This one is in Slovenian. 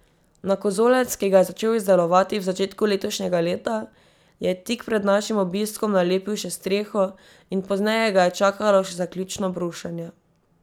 Na kozolec, ki ga je začel izdelovati v začetku letošnjega leta, je tik pred našim obiskom nalepil še streho in pozneje ga je čakalo še zaključno brušenje.